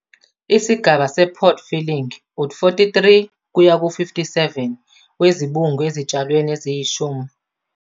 Isigaba se-pod filling - u-43 kuya ku-57 wezibungu ezitshalweni eziyishumi.